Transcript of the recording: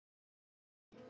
FIMMTA STUND